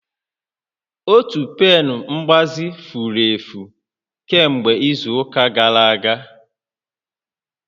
Otu pen mgbazi furu efu kemgbe izu ụka gara aga